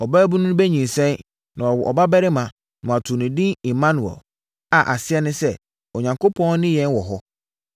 “Ɔbaabunu no bɛnyinsɛn, na wawo ɔbabarima, na wɔato no edin Immanuel” a aseɛ ne sɛ, “Onyankopɔn ne yɛn wɔ hɔ.”